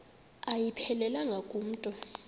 ayiphelelanga ku mntu